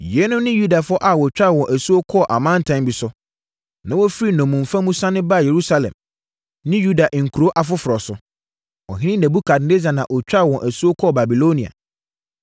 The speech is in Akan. Yeinom ne Yudafoɔ a wɔtwaa wɔn asuo kɔɔ amantam bi so, na wɔfirii nnommumfa mu sane baa Yerusalem ne Yuda nkuro afoforɔ so. Ɔhene Nebukadnessar na ɔtwaa wɔn asuo kɔɔ Babilonia.